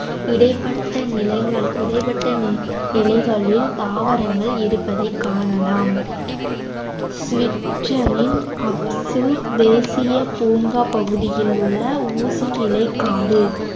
இடைப்பட்ட நிலங்கள் இடைப்பட்ட நிலைகளில் தாவரங்கள் இருப்பதைக் காணலாம் சுவிடனில் தேசியப் பூங்கா பகுதியில் உள்ள ஊசியிலைக் காடு